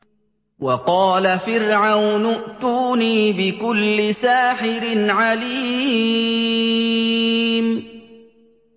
وَقَالَ فِرْعَوْنُ ائْتُونِي بِكُلِّ سَاحِرٍ عَلِيمٍ